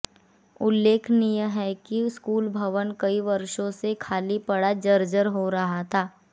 उल्लेखनीय है कि स्कूल भवन कई वर्षों से खाली पड़ा जर्जर हो रहा था